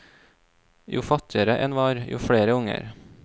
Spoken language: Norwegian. Jo fattigere en var, jo flere unger.